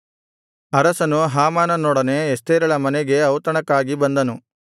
ಅರಸನು ಹಾಮಾನನೊಡನೆ ಎಸ್ತೇರಳ ಮನೆಗೆ ಔತಣಕ್ಕಾಗಿ ಬಂದನು